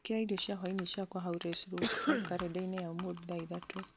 gwĩkĩra irio cia hwaĩini ciakwa hau res lobster karenda-inĩ ya ũmũthĩ thaa ithatũ